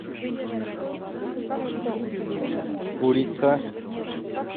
курица